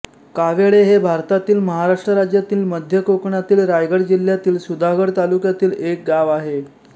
कावेळे हे भारतातील महाराष्ट्र राज्यातील मध्य कोकणातील रायगड जिल्ह्यातील सुधागड तालुक्यातील एक गाव आहे